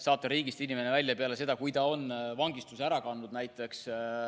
Saata inimene riigist välja peale seda, kui ta on vangistuse Eesti Vabariigis ära kandnud.